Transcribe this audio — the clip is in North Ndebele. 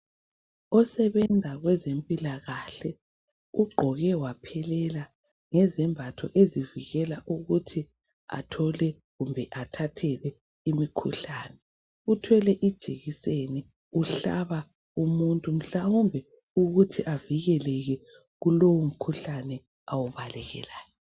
osebenza kwezempilakahle ugqoke waphelela ngezembatho ezizamvikela ukuthi athole kumbe athathe imikhuhlane uthwele ijekiseni uhlaba umuntu hlawumbe ukuthi avikeleke kulowo mkhuhlane awubalekelayo